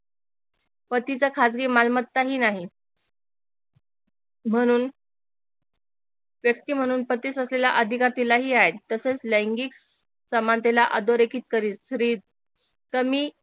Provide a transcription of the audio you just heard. पतीचा खासगी मालमत्ता ही नाही म्हणून व्यक्ती म्हणून पतीस असलेला अधिकार तिला ही आहे तसेच लैंगिक समानतेला अधोरेखित करीत स्त्री कमी